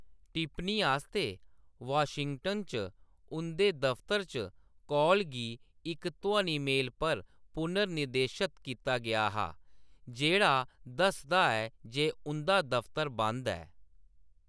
टिप्पनी आस्तै वाशिंगटन च उंʼदे दफतर च कॉल गी इक ध्वनि मेल पर पुनर्निर्देशत कीता गेआ हा जेह्‌‌ड़ा दसदा ऐ जे उंʼदा 'दफतर बंद ऐ'।